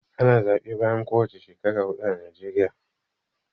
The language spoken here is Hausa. Ana zaɓe bayan kowani shekara huɗu a najeriya.